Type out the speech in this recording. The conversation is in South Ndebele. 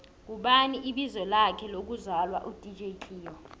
ngubani ibizo lakhe lokvzalwa u dj cleo